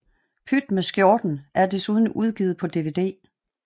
Pyt med Skjorten er desuden udgivet på DVD